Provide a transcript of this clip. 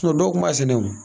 dɔw kun b'a sɛnɛ o.